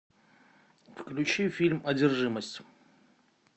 включи фильм одержимость